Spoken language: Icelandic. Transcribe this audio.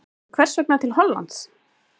En hvers vegna til Hollands?